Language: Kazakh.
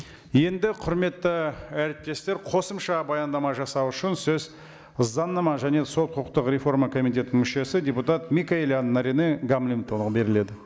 енді құрметті әріптестер қосымша баяндама жасау үшін сөз заңнама және сот құқықтық реформа комитетінің мүшесі депутат микаелян наринэ гамлетовнаға беріледі